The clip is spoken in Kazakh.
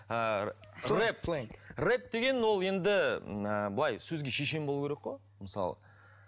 ыыы рэп рэп деген ол енді ыыы былай сөзге шешен болу керек қой мысалы